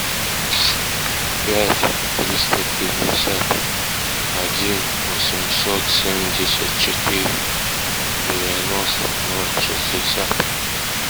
пять триста пятьдесят один восемьсот семьдесят четыре девяносто ноль шестьдесят